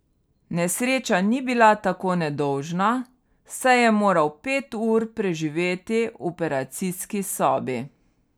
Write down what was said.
Nesreča ni bila tako nedolžna, saj je moral pet ur preživeti v operacijski sobi.